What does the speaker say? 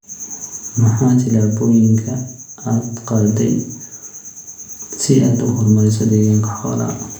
Maxaa tillaabooyinka aad qaaday si aad u horumariso deegaanka xoolaha?